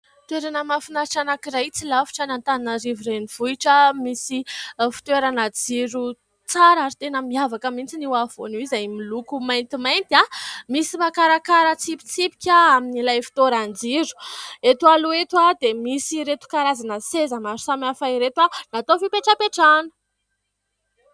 Toerena mahafinatra anankiray tsy lavitra an'Antananarivo renivohitra, misy fitoerana jiro tsara ary tena miavaka mihitsy io afovoany io izay miloko maintimainty. Misy makarakara tsipitsipika amin'ilay fitoeran-jiro. Eto aloha eto dia misy ireto karazana seza maro samihafa ireto natao ho fipetrapetrahana.